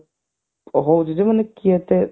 ମାନେ କିଏ ଏତେ